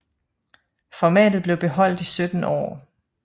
Formatet blev beholdt i 17 år